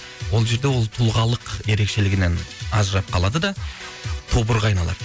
ол жерде ол тұлғалық ерекшелігінен ажырап қалады да тобырға айналады